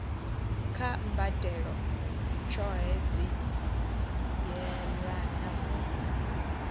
kha mbadelo tshohe dzi yelanaho